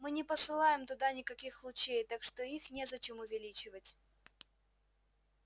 мы не посылаем туда никаких лучей так что их незачем увеличивать